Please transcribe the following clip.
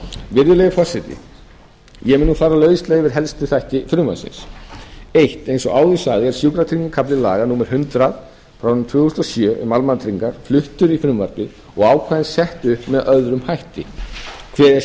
virðulegi forseti ég mun nú fara lauslega yfir helstu þætti frumvarpsins fyrstu eins og áður sagði er sjúkratryggingakafli laga númer hundrað tvö þúsund og sjö um almannatryggingar fluttur í frumvarpið og ákvæðin sett upp með öðrum hætti kveðið er skýrar á